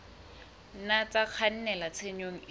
nna tsa kgannela tshenyong e